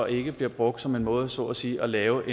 ikke bliver brugt som en måde til så at sige at lave